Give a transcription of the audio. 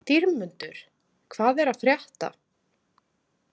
Dýrmundur, hvað er að frétta?